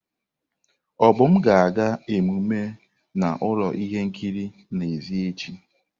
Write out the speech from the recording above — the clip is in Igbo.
Obum ga-aga emume na ụlọ ihe nkiri n'èzí echi.